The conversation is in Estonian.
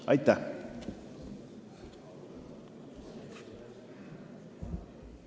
Aitäh!